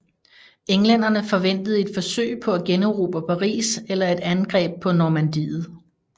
Englænderne forventede et forsøg på at generobre Paris eller et angreb på Normandiet